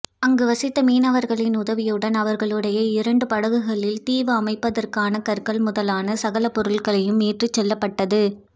அங்கு வசித்த மீனவர்களின் உதவியுடன் அவர்களுடைய இரண்டு படகுகளில் தீவு அமைப்பதற்கான கற்கள் முதலான சகல பொருள்களும் ஏற்றிச்செல்லப்பட்டது